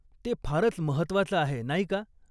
ते फारच महत्वाचं आहे, नाही का?